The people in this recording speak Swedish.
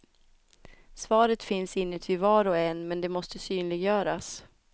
Svaret finns inuti var och en men det måste synliggöras.